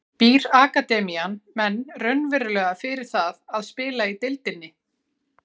Býr akademían menn raunverulega fyrir það að spila í deildinni?